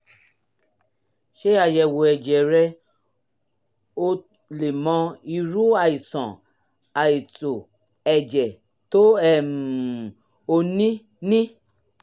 ṣe àyẹ̀wò ẹ̀jẹ̀ rẹ kó o lè mọ irú àìsàn àìtó ẹ̀jẹ̀ tó um o ní ní